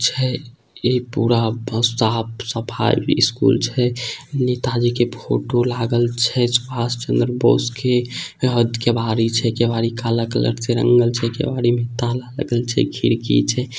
छै ई पूरा साफ-सफाई इ स्कुल छै नेता जी के फोटो लागल छै सुभास चन्द्र बोस के हद केवाड़ी छै केवाड़ी काला कलर के रंगल छै केवाड़ी में ताला लागल छै खिड़की छै।